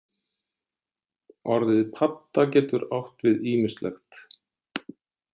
Orðið padda getur átt við ýmislegt.